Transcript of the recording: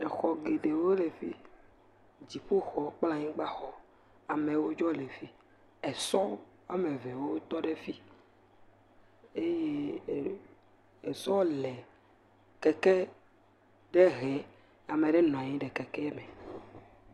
Exɔ geɖewo le fi, dziƒoxɔ kple anyigbaxɔ, amewo dzo le fi, esɔ woame evewo tɔ ɖe fi, eye ee…esɔ le keke ɖe hem. Ame ɖe nɔ anyi ɖe keke me.